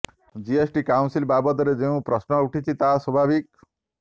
GST council ବାବଦରେ ଯେଉଁ ପ୍ରଶ୍ନ ଉଠିଛି ତାହା ସ୍ୱଭାବିକ